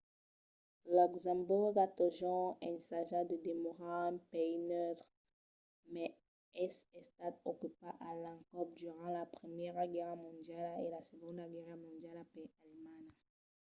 luxemborg a totjorn ensajat de demorar un país neutre mas es estat ocupat a l'encòp durant la primièra guèrra mondiala e la segonda guèrra mondiala per alemanha